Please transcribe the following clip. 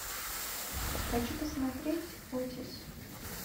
хочу посмотреть отис